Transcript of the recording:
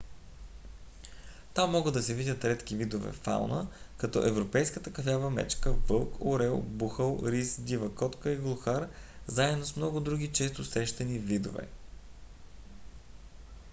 там могат да се видят редки видове фауна като европейската кафява мечка вълк орел бухал рис дива котка и глухар заедно с много други често срещани видове